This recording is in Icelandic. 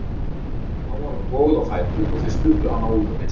Þá var hún toguð á fætur og þeir studdu hana út á milli sín.